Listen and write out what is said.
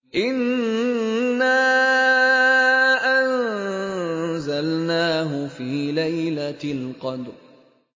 إِنَّا أَنزَلْنَاهُ فِي لَيْلَةِ الْقَدْرِ